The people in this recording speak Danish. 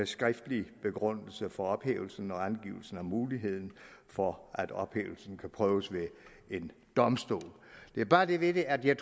skriftlig begrundelse for ophævelsen og angivelse af muligheden for at ophævelsen kan prøves ved en domstol der er bare det ved det at jeg